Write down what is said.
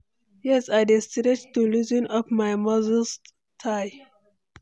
yes, i dey stretch to loosen up my muscle tigh.